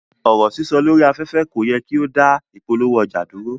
Ọ̀rọ̀ sísọ lórí aféfé ko yẹ ki o da ìpolówó ọjà duro.